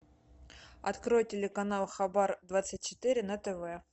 открой телеканал хабар двадцать четыре на тв